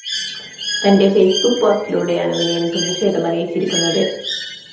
തന്റെ ഫെയ്‌സ്ബുക്ക് പോസ്റ്റിലൂടെയാണ് വിനയന്‍ പ്രതിഷേധം അറിയിച്ചിരിക്കുന്നത്